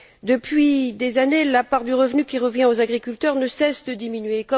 Depuis des années, la part du revenu qui revient aux agriculteurs ne cesse de diminuer.